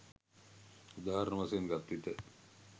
උදාහරණ වශයෙන් ගත් විට